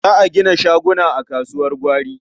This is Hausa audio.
Za a gina shaguna a kasuwar gwari.